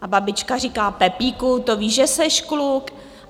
A babička říká, Pepíku, to víš, že jseš kluk!